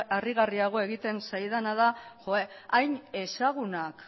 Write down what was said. harrigarriago egiten zaidana da hain ezagunak